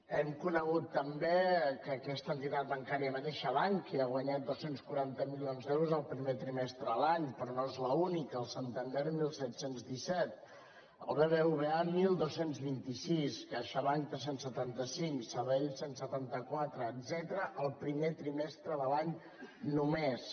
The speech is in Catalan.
hem conegut també que aquesta entitat bancària mateixa bankia ha guanyat dos cents i quaranta milions d’euros el primer trimestre de l’any però no és l’única el santander disset deu set el bbva dotze vint sis caixabank tres cents i setanta cinc sabadell cent i setanta quatre etcètera el primer trimestre de l’any només